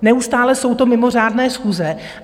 Neustále jsou to mimořádné schůze.